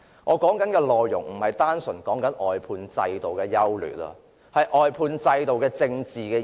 我說的不是單純關乎外判制度的優劣，而是它的政治意義。